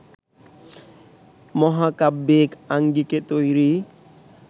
মহাকাব্যিক আঙ্গিকে তৈরি